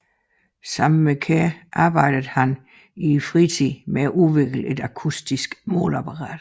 Sammen med Kjær arbejde han i fritiden med at udvikle et akustisk måleapparat